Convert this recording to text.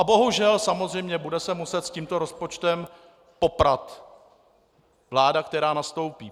A bohužel samozřejmě bude se muset s tímto rozpočtem poprat vláda, která nastoupí.